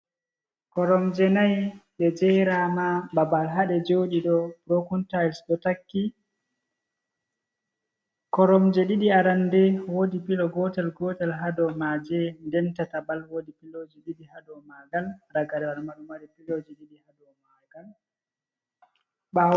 Koromje nai, ɗe jeeraama. Babal haa ɗe joɗi ɗo 'brokentiles' ɗo takki. koromje ɗiɗi arande woodi pilo gotel-gotel haa dow maaje, nden tataɓal wodi piloji ɗiɗi haa dow maagal. Ragare wal ma, ɗo mari piloji ɗiɗi haa dow magal.